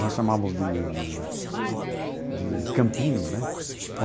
Nós chamávamos de de de campinho, né?